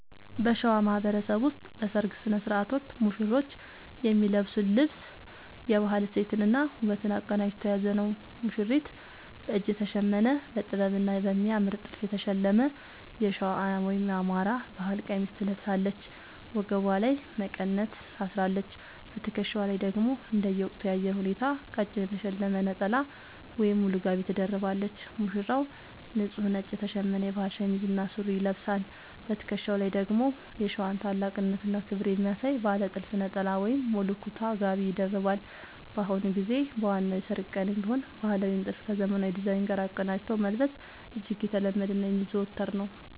በሸዋ ማህበረሰብ ውስጥ በሠርግ ሥነ ሥርዓት ወቅት ሙሽሮች የሚለብሱት ልብስ የባህል እሴትንና ውበትን አቀናጅቶ የያዘ ነው፦ ሙሽሪት፦ በእጅ የተሸመነ: በጥበብና በሚያምር ጥልፍ የተሸለመ የሸዋ (የአማራ) ባህል ቀሚስ ትለብሳለች። ወገቧ ላይ መቀነት ታስራለች: በትከሻዋ ላይ ደግሞ እንደየወቅቱ የአየር ሁኔታ ቀጭን የተሸለመ ነጠላ ወይም ሙሉ ጋቢ ትደርባለች። ሙሽራው፦ ንጹህ ነጭ የተሸመነ የባህል ሸሚዝ እና ሱሪ ይለብሳል። በትከሻው ላይ ደግሞ የሸዋን ታላቅነትና ክብር የሚያሳይ ባለ ጥልፍ ነጠላ ወይም ሙሉ ኩታ (ጋቢ) ይደርባል። በአሁኑ ጊዜ በዋናው የሠርግ ቀንም ቢሆን ባህላዊውን ጥልፍ ከዘመናዊ ዲዛይን ጋር አቀናጅቶ መልበስ እጅግ የተለመደና የሚዘወተር ነው።